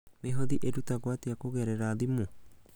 Mĩhothi ĩrutagwo atĩa kũgerera thimũ?